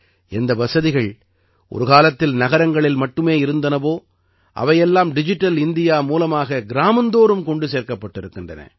எந்த வசதிகள் ஒரு காலத்தில் நகரங்களில் மட்டுமே இருந்தனவோ அவை எல்லாம் டிஜிட்டல் இந்தியா மூலமாக கிராமந்தோறும் கொண்டு சேர்க்கப்பட்டிருக்கின்றன